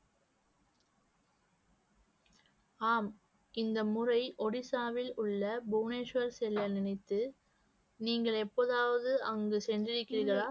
ஆம் இந்த முறை ஒடிசாவில் உள்ள புவனேஸ்வர் செல்ல நினைத்து நீங்கள் எப்போதாவது அங்கு சென்றிருக்கிறீர்களா